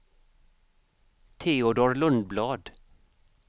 Teodor Lundblad